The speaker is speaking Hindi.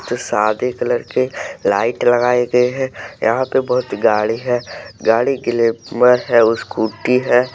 सादे कलर के लाइट लगाए गए हैं यहां पे बहोत गाड़ी है गाड़ी ग्लैमर है स्कूटी है।